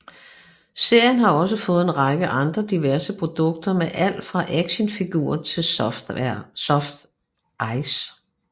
Serien har også fået en række andre diverse produkter med alt fra actionfigurer til softice